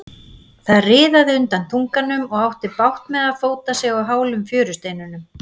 Hann riðaði undan þunganum og átti bágt með að fóta sig á hálum fjörusteinunum.